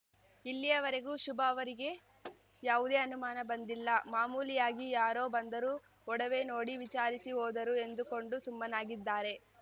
ಇಲ್ಲಿಯ ವರೆಗೂ ಶುಭ ಅವರಿಗೆ ಯಾವುದೇ ಅನುಮಾನ ಬಂದಿಲ್ಲ ಮಾಮೂಲಿಯಾಗಿ ಯಾರೋ ಬಂದರು ಒಡವೆ ನೋಡಿ ವಿಚಾರಿಸಿ ಹೋದರು ಎಂದುಕೊಂಡು ಸುಮ್ಮನಾಗಿದ್ದಾರೆ